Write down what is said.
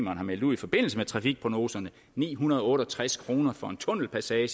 har meldt ud i forbindelse med trafikprognoserne ni hundrede og otte og tres kroner for en tunnelpassage